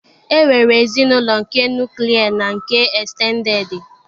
E nwere ezinụlọ nke nuklia na nke estendedi